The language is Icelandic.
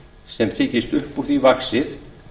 sem þykist upp úr því vaxið